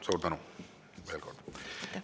Suur tänu veel kord!